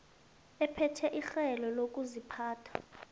ephethwe lirhelo lokuziphatha